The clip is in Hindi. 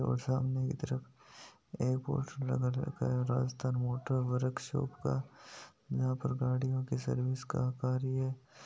और सामने की तरफ एक पोस्टर लगा रखा है राजस्थान मोटर वर्क शॉप का जहा पर गाडियो की सर्विस का कार्य हो रहा है।